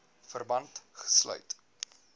verband gesluit